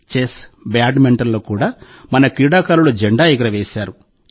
chess బ్యాడ్మింటన్లలో కూడా మన క్రీడాకారులు జెండా ఎగురవేశారు